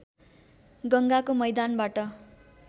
गङ्गाको मैदानबाट